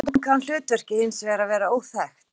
Stundum kann hlutverkið hins vegar að vera óþekkt.